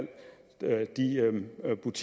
en